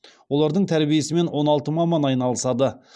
олардың тәрбиесімен он алты маман айналысады